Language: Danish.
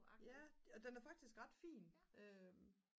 ja og den er faktisk ret fin